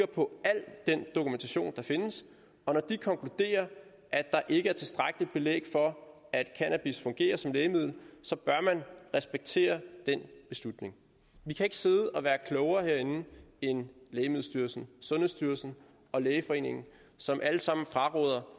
på al den dokumentation der findes og når de konkluderer at der ikke er tilstrækkeligt belæg for at cannabis fungerer som lægemiddel så bør man respektere den beslutning vi kan ikke sidde og være klogere herinde end lægemiddelstyrelsen sundhedsstyrelsen og lægeforeningen som alle sammen fraråder